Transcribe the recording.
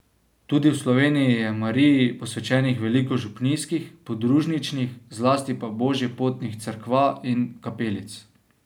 Tudi v Sloveniji je Mariji posvečenih veliko župnijskih, podružničnih, zlasti pa božjepotnih cerkva in kapelic.